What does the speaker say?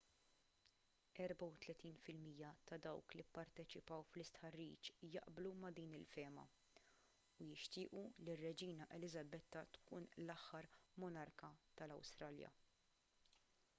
34 fil-mija ta' dawk li pparteċipaw fl-istħarriġ jaqblu ma' din il-fehma u jixtiequ li r-reġina eliżabetta tkun l-aħħar monarka tal-awstralja